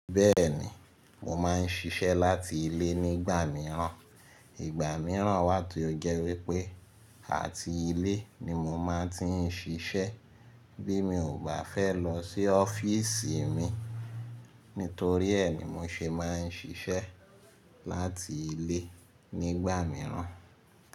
Bẹ́ẹ̀ni, mo máa ń ṣiṣẹ́ láti ilé nígbà mìíràn. Ìgbà mìíràn wá ti ó jẹ́ wípé àti ilé ni mo máa ti ń ṣiṣẹ́ bí mi ò bá fẹ́ lọ sí ọ́fíìsì mi. Nítorí ẹ́ ni mo ṣe máa ń ṣiṣẹ́ láti ilé nígbà mìíràn.